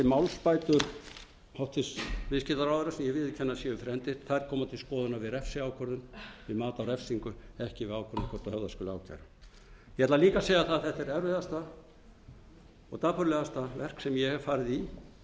málsbætur hæstvirtur viðskiptaráðherra sem ég viðurkenni að séu fyrir hendi koma til skoðunar við refsiákvörðun við mat á refsingu ekki við ákvörðun um hvort höfða skuli ákæru ég ætla líka að eða það að þetta er erfiðasta og dapurlegasta verk sem ég hef farið